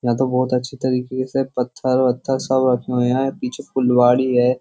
यहां तो बहुत अच्छी तरीके से पत्थर पत्थर सब रखे हुए हैं पीछे फुलवाड़ी है।